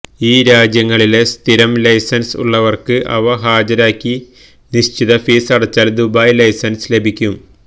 ഈ രാജ്യങ്ങളിലെ സ്ഥിരം ലൈസന്സ് ഉള്ളവര്ക്ക് അവ ഹാജരാക്കി നിശ്ചിത ഫീസ് അടച്ചാല് ദുബായി ലൈസന്സ് ലഭിക്കും